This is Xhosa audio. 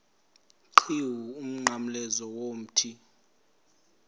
qhiwu umnqamlezo womthi